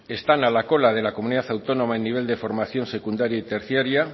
están a la cola de la comunidad autónoma en nivel de formación secundaria y terciaria